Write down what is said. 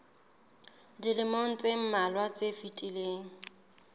dilemong tse mmalwa tse fetileng